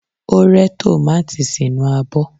O re tomati sinu abo